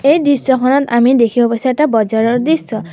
এই দৃশ্যখনত আমি দেখিব পাইছোঁ এটা বজাৰৰ দৃশ্য।